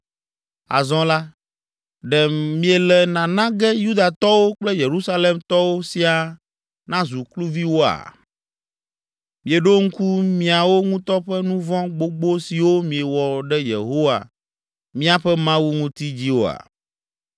Azɔ la, ɖe miele nana ge Yudatɔwo kple Yerusalemtɔwo siaa nazu kluviwoa? Mieɖo ŋku miawo ŋutɔ ƒe nu vɔ̃ gbogbo siwo miewɔ ɖe Yehowa, míaƒe Mawu ŋuti dzi oa?